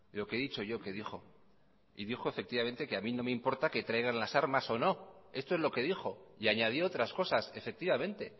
lo que he dicho yo que dijo y dijo efectivamente que a mí no me importa que traigan las armas o no esto es lo que dijo y añadió otras cosas efectivamente